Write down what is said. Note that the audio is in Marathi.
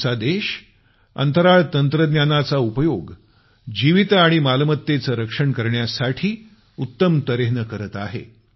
आमचा देश अंतराळ तंत्रज्ञानाचा उपयोग जीवित आणि मालमत्तेचं संरक्षण करण्यासाठी उत्तम तर्हेने करत आहे